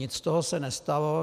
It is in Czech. Nic z toho se nestalo.